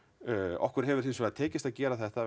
okkur hefur hins vegar tekist að gera þetta